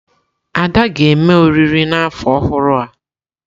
Ada ga-eme oriri n'afọ ọhụrụ a.